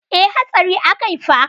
E, hatsari akai fa.